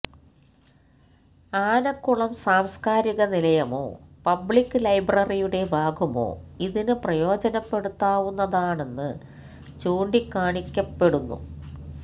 ആനക്കുളം സാംസ്കാരിക നിലയമോ പബ്ലിക് ലൈബ്രറിയുടെ ഭാഗമോ ഇതിന് പ്രയോജനപ്പെടുത്താവുന്നതാണെന്ന് ചൂണ്ടികാണിക്കപ്പെടുന്നു